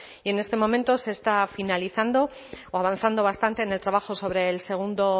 y en este momento se está finalizando o avanzado bastante en el trabajo sobre el segundo